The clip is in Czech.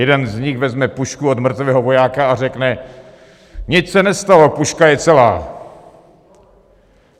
Jeden z nich vezme pušku od mrtvého vojáka a řekne: Nic se nestalo, puška je celá.